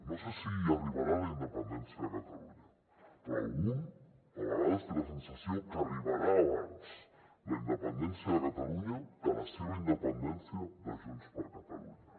no sé si arribarà la independència de catalunya però un a vegades té la sensació que arribarà abans la independència de catalunya que la seva independència de junts per catalunya